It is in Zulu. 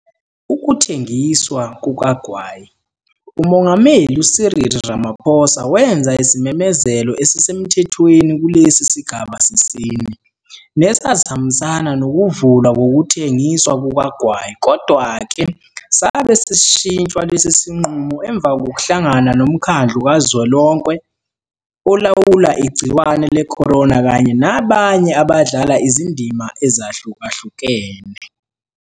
Ukuthengiswa kukagwayi. UMongameli u-Cyril Ramaphosa wenza isimemezelo esisemthethweni kulesi sigaba sesine, nesasihambisana nokuvulwa kokuthengiswa kukagwayi kodwa-ke sabe sesishintshwa lesi sinqumo emva kokuhlangana noMkhandlu KaZwelonke Olawula Igciwane le-corona kanye nabanye abadlala izindima ezahlukahlukene.